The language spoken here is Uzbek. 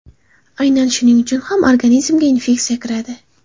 Aynan shuning uchun ham organizmga infeksiya kiradi.